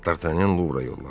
D'Artagnan Luvra yollandı.